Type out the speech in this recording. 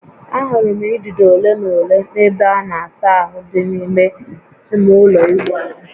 Ahụrụ m idido ole na ole n'ebe a na-asa ahụ dị n'ime ime ụlọ ịwụ ahụ